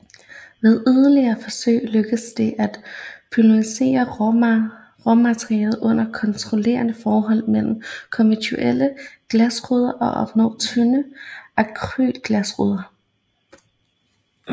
Ved yderligere forsøg lykkedes det at polymerisere råmaterialet under kontrollerede former mellem konventionelle glasruder og opnå tynde akrylglasruder